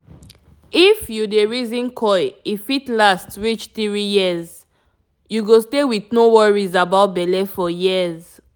if you dey reason coil e fit last reach 3yrs -- u go stay with no worries about belle for years